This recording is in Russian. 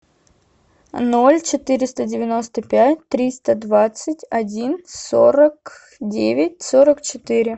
ноль четыреста девяносто пять триста двадцать один сорок девять сорок четыре